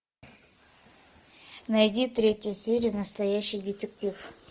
найди третья серия настоящий детектив